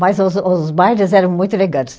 Mas os os bailes eram muito elegantes.